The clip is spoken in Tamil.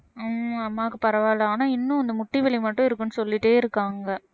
உம் அம்மாவுக்கு பரவாயில்லை ஆனா இன்னும் அந்த முட்டி வலி மட்டும் இருக்குன்னு சொல்லிட்டே இருக்காங்க